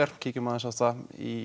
maður í